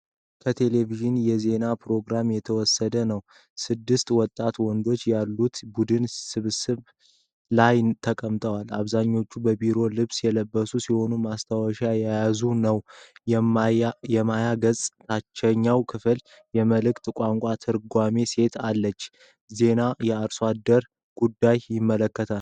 ከቴሌቪዥን የዜና ፕሮግራም የተወሰደ ነው። ስድስት ወጣት ወንዶች ያሉት ቡድን ስብሰባ ላይ ተቀምጠዋል። አብዛኞቹ በቢሮ ልብስ የለበሱ ሲሆን ማስታወሻ እየያዙ ነው። በማያ ገጹ ታችኛው ክፍል የምልክት ቋንቋ ተርጓሚ ሴት አለች። ዜናው የአርሶ አደር ጉዳይን ይመለከታል።